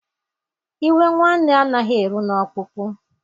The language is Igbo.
Iwe nwanne anaghị eru n’ọkpụkpụ